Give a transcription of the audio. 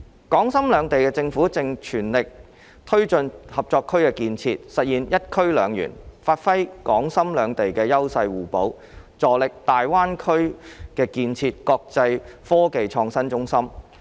港深兩地政府正全力推進合作區的建設，實現"一區兩園"，發揮港深兩地優勢互補，助力大灣區建設國際科技創新中心。